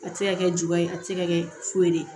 A tɛ se ka kɛ ju ye a tɛ se ka kɛ foyi ye